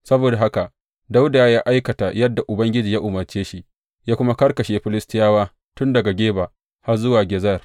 Saboda haka Dawuda ya aikata yadda Ubangiji ya umarce shi, ya kuma karkashe Filistiyawa tun daga Geba har zuwa Gezer.